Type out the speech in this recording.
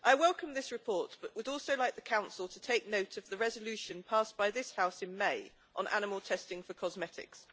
Mr President, I welcome this report, but would also like the Council to take note of the resolution passed by this House in May on animal testing for cosmetics.